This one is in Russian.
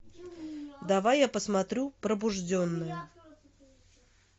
давай я посмотрю пробужденные